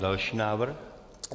Další návrh.